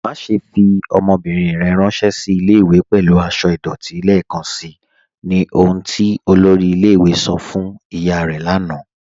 Màṣẹ̀ fi ọmọ́bírín rẹ̀ ránsẹ̀ sí ilẹ̀-ìwé̀ pẹ̀lú àṣọ̀ idọ̀tí lẹ́ẹkanṣí, ní ọ̀hun tí olórí ilẹ̀-ìwé̀ sọ̀ fún ìyá rẹ̀ lànà